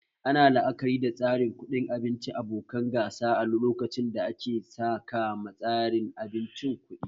Ana la'akari da tsarin kuɗin abinci abokan gasa lokacin da ake saka ma tsarin abincin kuɗi